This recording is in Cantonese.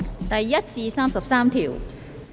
第1至33條。